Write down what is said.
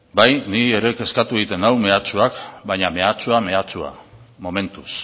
ni ere kezkatu egiten nau mehatxuak baina mehatxua mehatxua da momentuz